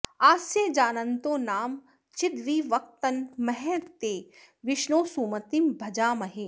आस्य जानन्तो नाम चिद्विवक्तन महस्ते विष्णो सुमतिं भजामहे